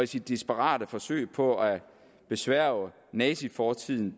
sit desperate forsøg på at besværge nazifortiden